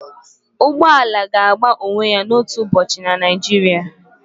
ụgbọ ala ga-agba onwe ya otu ụbọchị na Naijiria